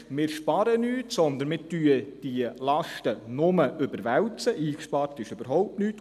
So sparen wir nichts ein, sondern wir überwälzen die Lasten nur, eingespart ist überhaupt nichts.